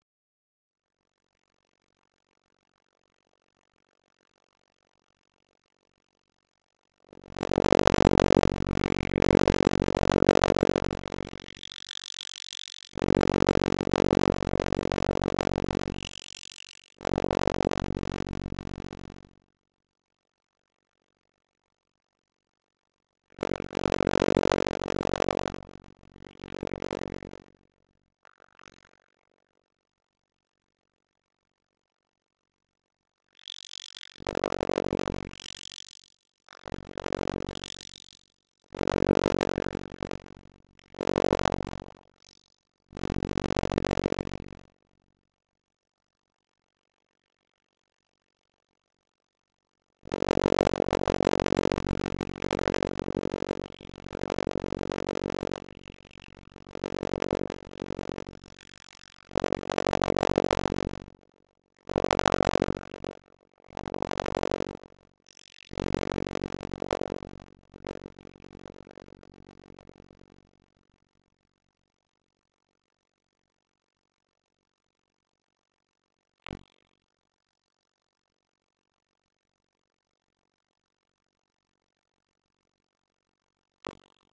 Oliver Sigurjónsson- Breiðablik Sjálfstraustið er í botni og Oliver hefur verið frábær á tímabilinu.